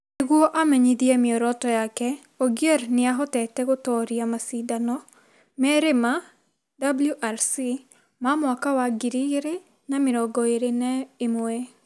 Nĩguo amenyithie mĩoroto yake, Ogier nĩ ahotete gũtooria macindano merĩma WRC ma mwaka wa ngiri igĩrĩ na mĩrongo ĩrĩ na ĩmwe;